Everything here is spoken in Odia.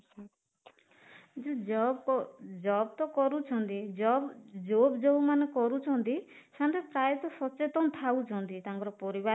ଯୋଉ ଜବ ଜବ ତ କରୁଛନ୍ତି ଜବ ଯୋଉ ଯୋଉ ମାନେ କରୁଛନ୍ତି ସେମାନେ ତ ପ୍ରାୟତଃ ସଚେତନ ଥାଉ ଛନ୍ତି ତାଙ୍କର ପରିବାର